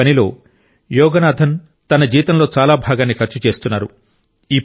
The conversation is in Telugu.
ఈ పనిలో యోగనాథన్ తన జీతంలో చాలా భాగాన్ని ఖర్చు చేస్తున్నారు